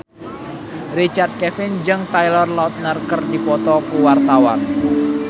Richard Kevin jeung Taylor Lautner keur dipoto ku wartawan